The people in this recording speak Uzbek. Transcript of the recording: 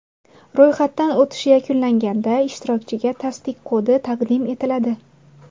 Ro‘yxatdan o‘tish yakunlanganda ishtirokchiga tasdiq kodi taqdim etiladi.